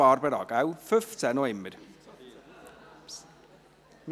wir sind noch immer beim Artikel 15.